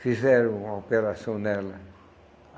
Fizeram uma operação nela.